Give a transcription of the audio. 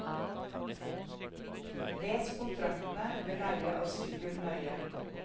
Les kontraktene ved leie av sykkel nøye.